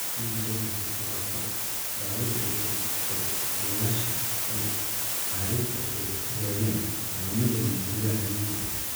laakiin waxaa jirtay dhibaato: dawada ay ku jirto kiciyeyaasha L-carnitine ee ay rabeen lagama helin gudaha UK.